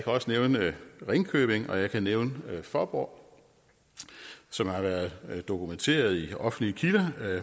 også nævne ringkøbing og jeg kan nævne fåborg som har været dokumenteret i offentlige kilder